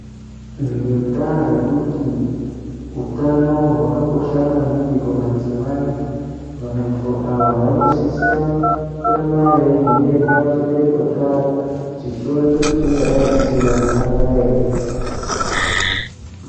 Ngendaa yekuti utano hwakakosha maningi kumadzimai. Vantu ava vanosisa kuramba veivhenekwa chibereko chavo chichionekwa kuti chingadai chisina gomarara ere.